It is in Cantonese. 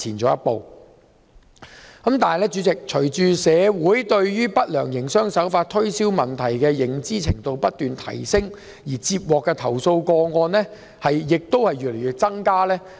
主席，隨着市民對不良營商手法和推銷問題的認知程度不斷提升，接獲的投訴個案日增。